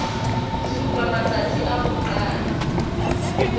supa matstasi a ho qala